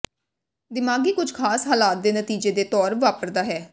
ਦਿਮਾਗੀ ਕੁਝ ਖਾਸ ਹਾਲਾਤ ਦੇ ਨਤੀਜੇ ਦੇ ਤੌਰ ਵਾਪਰਦਾ ਹੈ